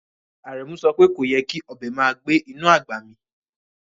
Aremu sope koyè́ kí ọbẹ màá gbẹ̀ inú agbá mí